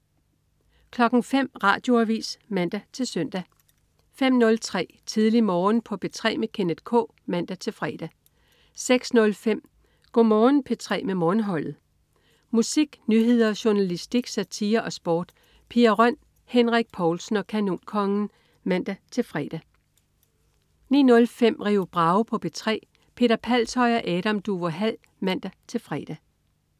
05.00 Radioavis (man-søn) 05.03 Tidlig Morgen på P3 med Kenneth K (man-fre) 06.05 Go' Morgen P3 med Morgenholdet. Musik, nyheder, journalistik, satire og sport. Pia Røn, Henrik Povlsen og Kanonkongen (man-fre) 09.05 Rio Bravo på P3. Peter Palshøj og Adam Duvå Hall (man-fre)